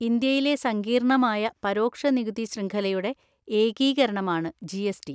ഇന്ത്യയിലെ സങ്കീർണമായ പരോക്ഷ നികുതി ശൃംഖലയുടെ ഏകീകരണമാണ് ജി. എസ്. ടി.